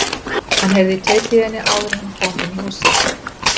Hann heyrði tautið í henni áður en hann kom inn í húsið.